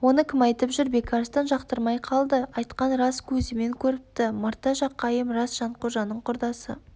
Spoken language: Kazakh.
оны кім айтып жүр бекарыстан жақтырмай қалды айтқан рас көзімен көріпті мырта жақайым рас жанқожаның құрдасы